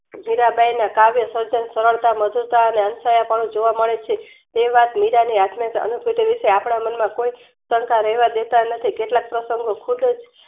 મીરાંબાઈના કાવ્ય સર્જક સરળતા, મજુર અને અંતરાય પણુ જોવા મળે છે. તેવાત મીરાંને આત્મ સામે સુતેલી છે. આપડા મનમાં કોઈ શંકા રહેવા દેતા નથી કેટલાક પ્રશંગો ખુદ જ